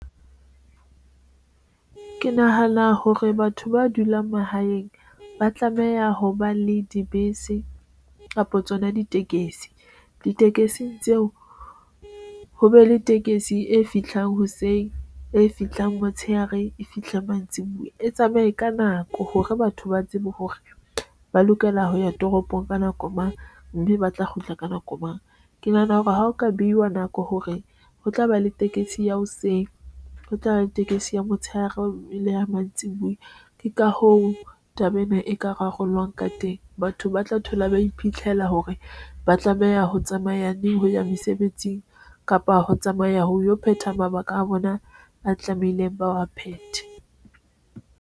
Ke nahana hore batho ba dulang mahaeng ba tlameha ho ba le dibese kapo tsona ditekesi, ditekesi tseo ho be le tekesi e fihlang hoseng e fihlang motshehare e fihle mantsibuya e tsamaye ka nako hore batho ba tsebe hore ba lokela ho ya toropong ka nako mang mme ba tla kgutla ka nako mang. Ke nahana hore ha o ka beihwa nako hore ho tlaba le tekesi ya hoseng ho tlaba le tekesi ya motshehare O ile ya mantsibuya. Ke ka hoo taba ena eka rarollwa ka teng. Batho ba tla thola ba iphitlhela hore ba tlameha ho tsamaya ne ho ya mesebetsing kapa ho tsamaya ho yo. Phetha mabaka a bona a tlamehileng ba wa phethe.